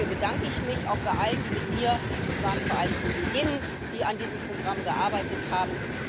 Dafür bedanke ich mich auch bei allen, die mit mir es waren vor allem Kolleginnen an diesem Programm gearbeitet haben.